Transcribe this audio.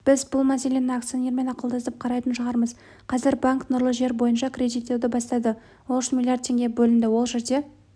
біз бұл мәселені акционермен ақылдасып қарайтын шығармыз қазір банк нұрлы жер бойынша кредиттеуді бастады ол үшін млрд теңге бөлінді ол жерде